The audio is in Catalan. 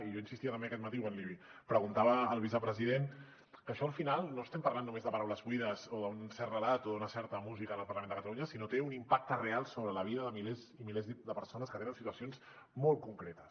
i jo insistia també aquest matí quan li preguntava al vicepresident que això al final no estem parlant només de paraules buides o d’un cert relat o d’una certa música en el parlament de catalunya sinó que té un impacte real sobre la vida de milers i milers de persones que tenen situacions molt concretes